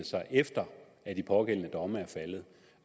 sig efter at de pågældende domme